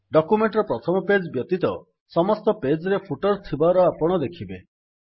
document ର ପ୍ରଥମ page ବ୍ୟତୀତ ସମସ୍ତ ପେଜ୍ ରେ ଫୁଟର୍ ଥିବାର ଆପଣ ଦେଖିବେ